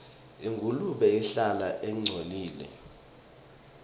ingulube ihlala ingcolile